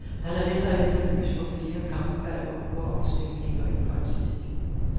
Han er heller ikke nervøs for flere kampvalg og urafstemninger i partiet.